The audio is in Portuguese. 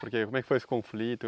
Por que como é que foi esse conflito?